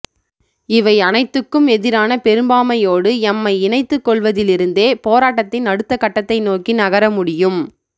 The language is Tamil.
இவை அனைத்துக்கும் எதிரான பெரும்பாமையோடு எம்மை இணைத்துக்கொள்வதிலிருந்தே போராட்டத்தின் அடுத்த கட்டத்தை நோக்கி நகரமுடியும்